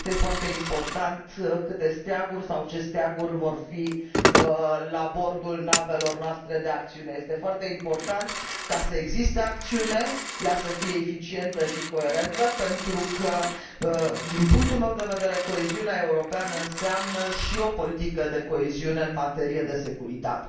Nu este foarte important câte steaguri sau ce steaguri vor fi la bordul navelor noastre de acțiune, este foarte important ca să existe acțiune, ea să fie eficientă și coerentă, pentru că din punctul meu de vedere coeziunea europeană înseamnă și o politică de coeziune în materie de securitate.